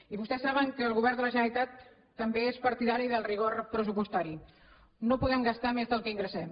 i vostès saben que el govern de la generalitat també és partidari del rigor pressupostari no podem gastar més del que ingressem